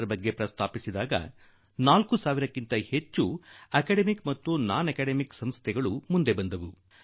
centre ಗಳಿಗೆ ಮುಂದೆ ಬಂದದ್ದು ಈ ವಿಚಾರಗಳಲ್ಲಿ ಜನರಿಗೆ ಅಭಿರುಚಿ ಇರುವುದು ನನಗೆ ಸಂತೋಷ ತಂದಿತು